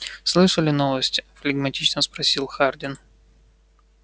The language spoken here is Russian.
слышали новости флегматично спросил хардин